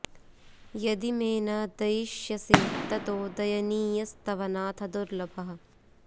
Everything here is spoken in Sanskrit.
यदि मे न दयिष्यसे ततो दयनीयस्तव नाथ दुर्लभः